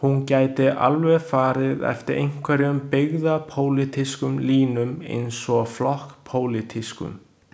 Hún gæti alveg farið eftir einhverjum byggðapólitískum línum eins og flokkspólitískum.